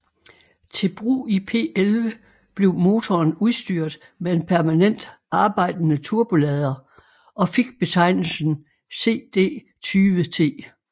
Til brug i P11 blev motoren udstyret med en permanent arbejdende turbolader og fik betegnelsen CD20T